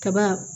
Kaba